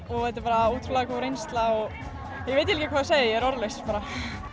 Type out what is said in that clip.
þetta er bara ótrúlega góð reynsla ég veit ekki hvað að segja ég er orðlaus bara